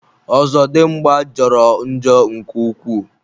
Ozodimgba jọrọ njọ nke ukwuu.